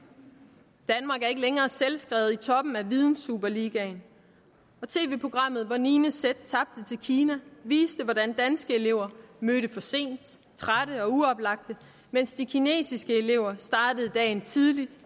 danmark er ikke længere selvskrevet i toppen af vidensuperligaen tv programmet hvor niende z tabte til kina viste hvordan danske elever mødte for sent trætte og uoplagte mens de kinesiske elever startede dagen tidligt